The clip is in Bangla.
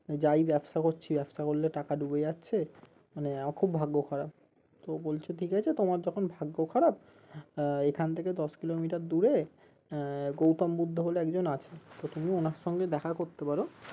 যাই ব্যবসা করছি ব্যবসা করলে টাকা ডুবে যাচ্ছে মানে আমার খুব ভাগ্য খারাপ তো বলছে ঠিক আছে যখন তোমার ভাগ্য খারাপ আহ এখন থেকে দশ কিলোমিটার দূরে আহ গৌতম বুদ্ধো বলে একজন আছে তো তুমি ওনার সাথে দেখা করতে পারো